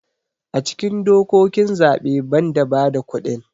a cikin dokokin zaɓe ban da bada kudin